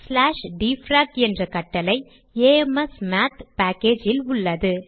dfrac என்ற கட்டளை amsmath package இல் உள்ளது